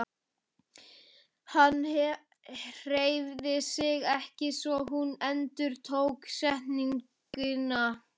Hann hreyfði sig ekki svo hún endurtók setninguna.